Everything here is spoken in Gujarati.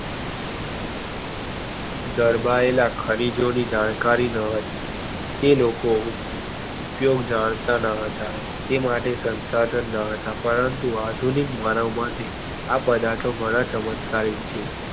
દરબાયેલા ખનીજો ની જાણકારી ના હતી તે લોકો ઉપયોગ જાણતા ના હતા તે માટે શંશાધન ના હતું પરંતુ આધુનિક માનવ માટે આ પદાર્થો ઘણા ચમત્કારિ છે.